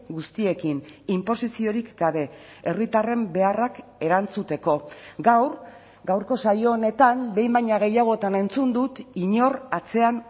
guztiekin inposiziorik gabe herritarren beharrak erantzuteko gaur gaurko saio honetan behin baino gehiagotan entzun dut inor atzean